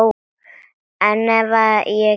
En það hef ég gert.